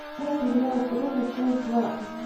сериал крузо часть двадцать